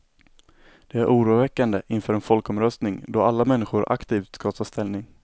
Det är oroväckande inför en folkomröstning, då alla människor aktivt ska ta ställning.